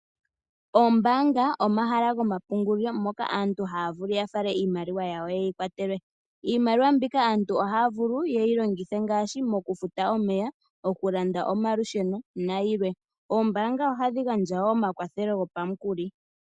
Oombaanga omahala goma pungulilo mono aantu haavulu oku yafale iimaliwa yawo yeyi kwatelwe, iimaliwa mbika aantu oha ya vulu yeyi longithe ngaashi mokufuta omeya mokulanda omalusheno nayilwe oombanga oha dhi gandjawo omakwathelo gopa mukuli.